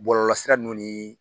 Bɔlɔlɔsira nun ni